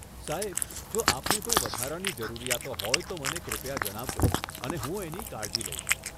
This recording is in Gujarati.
સાહેબ, જો આપને કોઈ વધારાની જરૂરિયાતો હોય, તો મને કૃપયા જણાવજો અને હું એની કાળજી લઈશ.